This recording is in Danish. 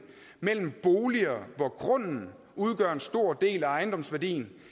mellem boliger hvor grunden udgør en stor del af ejendomsværdien